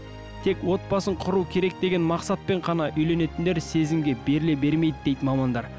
тек отбасын құру керек деген мақсатпен ғана үйленетіндер сезімге беріле бермейді дейді мамандар